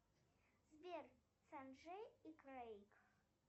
сбер санджей и крейг